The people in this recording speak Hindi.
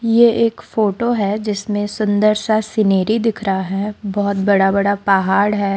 ये एक फोटो है जिसमें सुंदर सा सीनेरी दिख रहा है बहुत बड़ा बड़ा पहाड़ है।